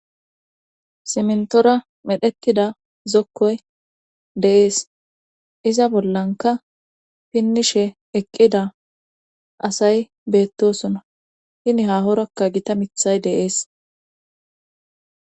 simntora medhettida zokkoy deees iza bollanka pinnishe eqqida asay beettosuna hini hahorakka gita mithay deees